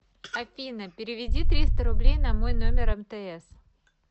афина переведи триста рублей на мой номер мтс